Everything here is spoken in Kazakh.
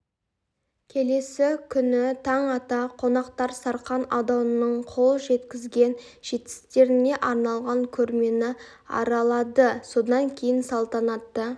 келесі күні таң ата қонақтар сарқан ауданының қол жеткізген жетістіктеріне арналған көрмені аралады содан кейін салтанатты